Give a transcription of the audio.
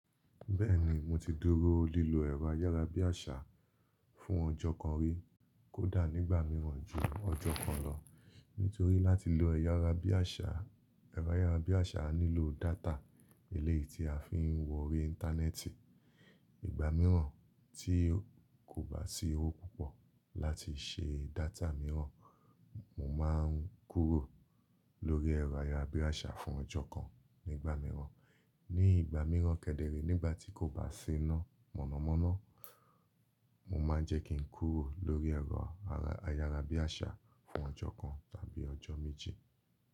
Bẹ́ẹ̀ ni, mo ti dúró lílo ẹ̀rọ ayárabíàṣá fún ọjọ́ kan rí, kódà nígbà mìíràn jù ọjọ́ kan lọ. Nítorí láti lo ẹ̀rọ ayárabíàṣá, ẹ̀rọ ayárabíàṣá á nílò data eléyìí tí a fi ń wọri Íńtánẹ́ẹ̀tì. Ìgbà mìíràn tí kò bá sí owó púpọ̀ láti ṣe data mìíràn, mo máa ń kúrò lórí ẹ̀rọ ayárabíàṣá fún ọjọ́ kan nígbà mìíràn. Ní ìgbà mìíràn kẹ́dẹ̀rẹ̀, nígbà tí kò bá sì ná mọ̀nàmọ́ná, mo máa ń jẹ́ kí n kúrò lórí ẹ̀rọ ayárabíàṣá fún ọjọ́ kan tàbí ọjọ́ méji.